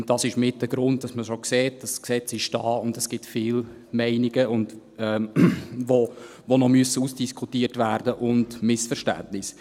Und das ist auch ein Grund, der verdeutlicht, dass das Gesetz da ist und dass es viele Meinungen und Missverständnisse gibt, die noch ausdiskutiert werden müssen.